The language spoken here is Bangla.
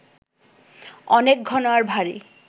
অনেক ঘন আর ভারি